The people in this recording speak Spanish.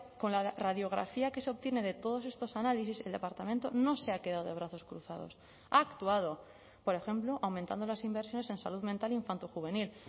con la radiografía que se obtiene de todos estos análisis el departamento no se ha quedado de brazos cruzados ha actuado por ejemplo aumentando las inversiones en salud mental infanto juvenil